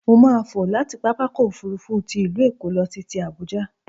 Mo máà fò láti pápákọ̀-òfurufú ti ìlú Èkó lọ sí ti Àbuja.